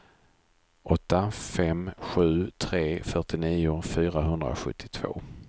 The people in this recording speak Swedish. åtta fem sju tre fyrtionio fyrahundrasjuttiotvå